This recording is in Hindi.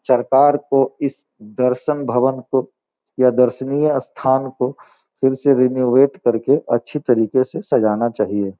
सरकार को इस दर्शन भवन को या दर्शनीय स्थान को फिर से रेनोवेट करके अच्छी तरीके से सजाना चाहिए।